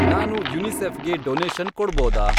ನಾನು ಯುನಿಸೆಫ್ ಗೆ ಡೊನೇಷನ್ ಕೊಡ್ಬೋದಾ?